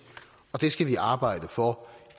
og det skal vi arbejde for